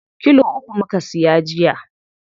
Kilo uku muka siya jiya.